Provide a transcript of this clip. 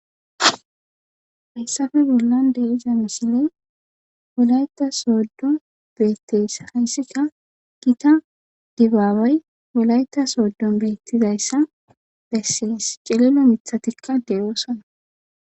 Haysappe bollan de iza misiley wolayta sooddo beetteyssa hayssika gita dibaawey wolayta sooddon beettizayssa bessees cilelo mithatikka deroosana